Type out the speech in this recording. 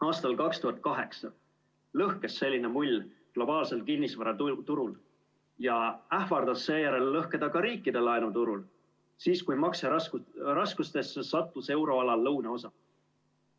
Aastal 2008 lõhkes selline mull globaalsel kinnisvaraturul ja ähvardas seejärel lõhkeda ka riikide laenuturul, siis kui makseraskustesse sattus euroala lõunaosa.